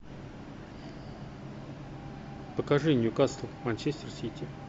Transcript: покажи ньюкасл манчестер сити